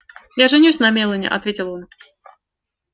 я женюсь на мелани ответил он